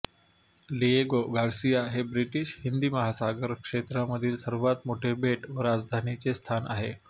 Diego Garcia हे British हिंदी महासागर क्षेत्रामधील सर्वात मोठे बेट व राजधानीचे स्थान आहे